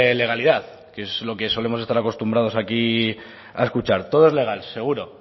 legalidad que es lo que solemos estar acostumbrados aquí a escuchar todo es legal seguro